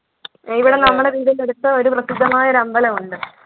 ഇവിടെ നമ്മടെ അടുത്തൊരു പ്രസിദ്ധമായ അമ്പലമുണ്ട്